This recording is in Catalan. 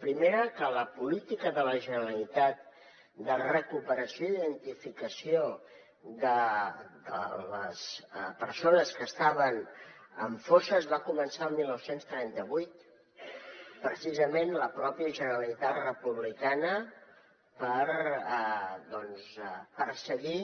primera que la política de la generalitat de recuperació i identificació de les persones que estaven en fosses va començar el dinou trenta vuit precisament per la pròpia generalitat republicana per perseguir